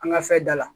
An ka fɛn da la